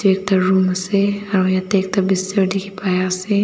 ekta room ase aru yate ekta bister dikhi pai ase.